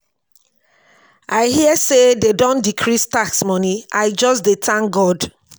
i hear say dey don decrease tax money. i just dey thank god.